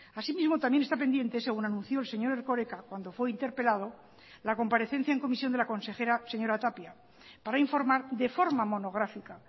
así mismo también está pendiente según anunció el señor erkoreka cuando fue interpelado la comparecencia en comisión de la consejera señora tapia para informar de forma monográfica